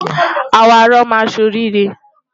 Àwọn arọ máa ṣe orí irẹ.